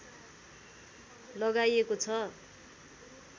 लगाइएको छ